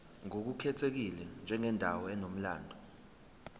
ngokukhethekile njengendawo enomlando